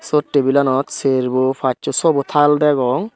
swot tabilanot charebow pasow sobow tal dagong.